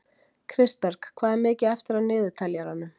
Kristberg, hvað er mikið eftir af niðurteljaranum?